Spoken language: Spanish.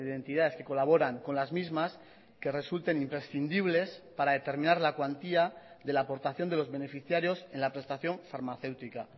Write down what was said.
entidades que colaboran con las mismas que resulten imprescindibles para determinar la cuantía de la aportación de los beneficiarios en la prestación farmacéutica